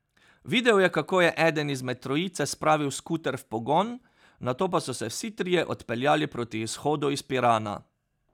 Videl je, kako je eden izmed trojice spravil skuter v pogon, nato pa so se vsi trije odpeljali proti izhodu iz Pirana.